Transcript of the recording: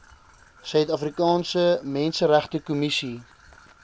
suid afrikaanse menseregtekommissie